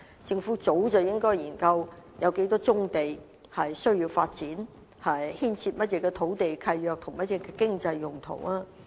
政府早應該研究有多少棕地需要發展，以及當中牽涉到甚麼土地契約和經濟用途。